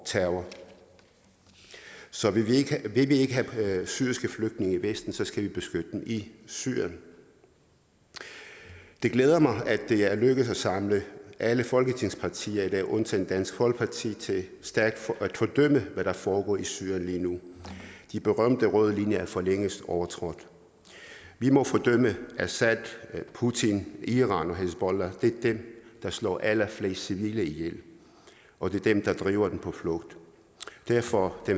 terror så vil vi ikke have syriske flygtninge i vesten skal vi beskytte dem i syrien det glæder mig at det er lykkedes at samle alle folketingets partier i dag undtagen dansk folkeparti til stærkt at fordømme hvad der foregår i syrien lige nu de berømte røde linjer er for længst overtrådt vi må fordømme assad putin iran og hizbollah det er dem der slår allerflest civile ihjel og det er dem der driver de på flugt derfor har